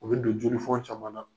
U bɛ don jolifɔn caman na.